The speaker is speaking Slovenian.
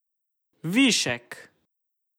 Višek!